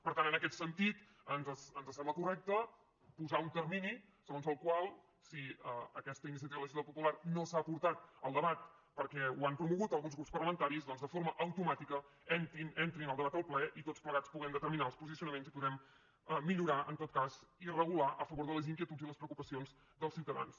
per tant en aquest sentit ens sembla correcte posar un termini segons el qual si aquesta iniciativa legislativa popular no s’ha portat al debat perquè ho han promogut alguns grups parlamentaris doncs de forma automàtica entri al debat al ple i tots plegats puguem determinar els posicionaments i puguem millorar en tot cas i regular a favor de les inquietuds i les preocupacions dels ciutadans